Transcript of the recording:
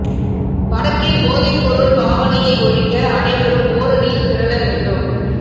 வடக்கில் போதைப் பொருள் பாவனையை ஒழிக்க அனைவரும் ஓரணியில் திரள வேண்டும்